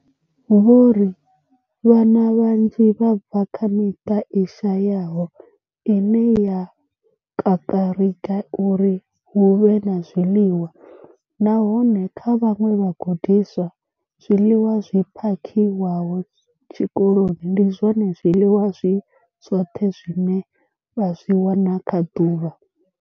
Vho ri. Vhana vhanzhi vha bva kha miṱa i shayaho ine ya kakarika uri hu vhe na zwiḽiwa, nahone kha vhaṅwe vhagudiswa, zwiḽiwa zwi phakhiwaho tshikoloni ndi zwone zwiḽiwa zwi zwoṱhe zwine vha zwi wana kha ḓuvha.